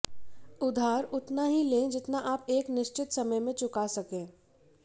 उधार उतना ही लें जितना आप एक निश्चित समय में चुका सकें